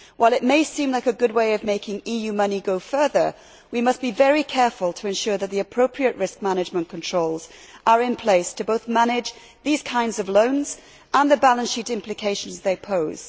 While it may seem like a good way of making EU money go further, we must be very careful to ensure that the appropriate risk management controls are in place to manage these kinds of loans and the balance sheet implications they pose.